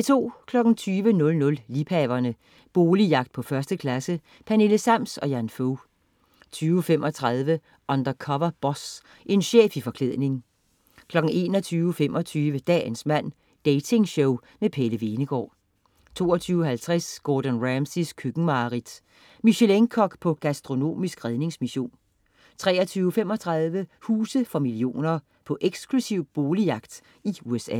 20.00 Liebhaverne. Boligjagt på 1. klasse. Pernille Sams og Jan Fog 20.35 Undercover Boss. En chef i forklædning 21.25 Dagens mand. Dating-show med Pelle Hvenegaard 22.50 Gordon Ramsays køkkenmareridt. Michelin-kok på gastronomisk redningsmission 23.35 Huse for millioner. På eksklusiv boligjagt i USA